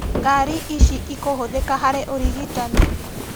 Ngari ici ikũhũthĩka harĩ ũrigitani